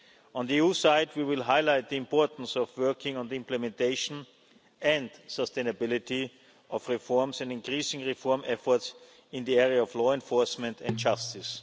On the EU side we will highlight the importance of working on the implementation and sustainability of reforms and increasing reform efforts in the area of law enforcement and justice.